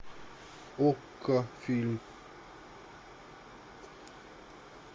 окко фильм